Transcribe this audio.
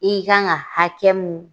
I kan ka hakɛ mun